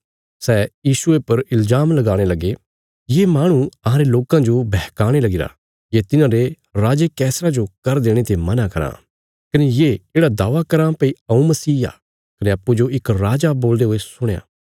सै यीशुये पर इल्जाम लगाणे लगे ये माहणु अहांरे लोकां जो बहकाणे लगीरा ये तिन्हारे राजे कैसरा जो कर देणे ते मना कराँ कने ये येढ़ा दावा कराँ भई हऊँ मसीह आ कने अप्पूँजो इक राजा बोलदे हुये सुणया